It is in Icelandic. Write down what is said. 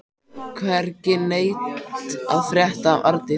Hvergi neitt að frétta af Arndísi.